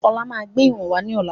Ọlá máa gbé ìwọ̀n wá ní ọ̀la.